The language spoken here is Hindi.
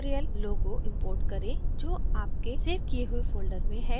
spoken tutorial logo import करें जो आपके सेव किये हुए folder में है